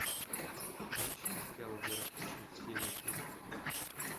поищи сериал город хищниц серия три